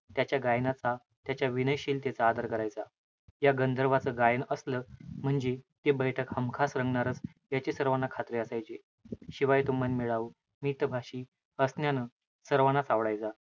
त्याच्या गायनाचा, त्याच्या विनयशीलतेचा आदर करायचा. या गंधर्वाचं गायन असलं म्हणजे, ते बैठक हमखास रंगणारच, याची सर्वांना खात्री असायची. शिवाय, तो मनमिळावू, मितभाषी असण्यानं सर्वानाच आवडायचा.